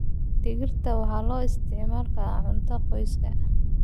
Digirta waxaa loo isticmaali karaa cunto qoyska.